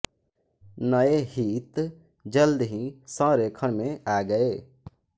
नए हित जल्द ही संरेखण में आ गए